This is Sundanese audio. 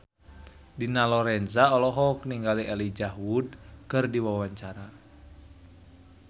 Dina Lorenza olohok ningali Elijah Wood keur diwawancara